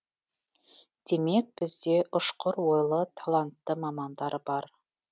демек бізде ұшқыр ойлы талантты мамандар бар